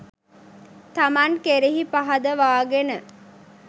තමන් කෙරෙහි පහදවාගෙන